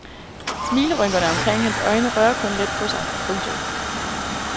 Smilerynkerne omkring hans øjne rører kun let på sig. punktum